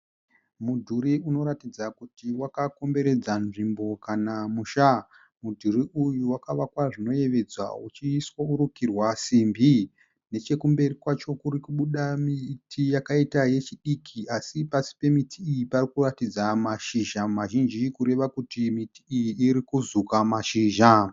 Mudhuri unoratidza kuti wakakomberedza nzvimbo kana musha. Mudhuri uyu wakavakwa zvinoyevedza uchirukirwa simbi. Nechekumberi kwacho kurikubuda miti yakaita yechidiki asi pasi pemiti iyi parikuratidza mashizha mazhinji kureva kuti miti iyi irikuzuka mashizha.